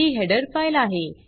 ही header file आहे